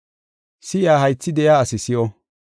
Si7iya haythi de7iya asi si7o.